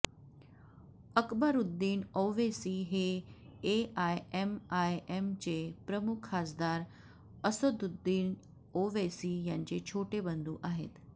अकबरुद्दीन ओवैसी हे एआयएमआयएमचे प्रमुख खासदार असदुद्दीन ओवैसी यांचे छोटे बंधू आहेत